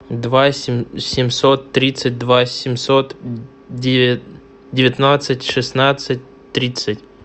два семьсот тридцать два семьсот девятнадцать шестнадцать тридцать